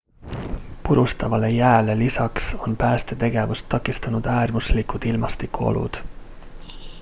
purustavale jääle lisaks on päästetegevust takistanud äärmuslikud ilmastikuolud